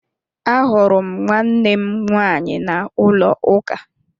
Ahụrụ m nwannem nwaanyị n'ụlọ uka